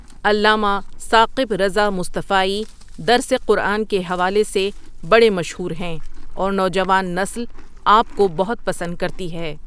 علامہ ثاقب رضا مصطفائی درس قرآن کے حوالے سے بڑے مشہور ہیں اور نوجوان نسل آپ کو بہت پسند کرتی ہے ۔